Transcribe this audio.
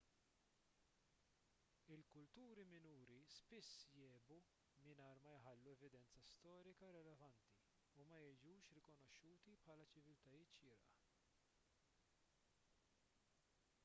il-kulturi minuri spiss jgħibu mingħajr ma jħallu evidenza storika relevanti u ma jiġux rikonoxxuti bħala ċiviltajiet xierqa